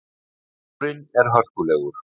Hljómurinn er hörkulegur.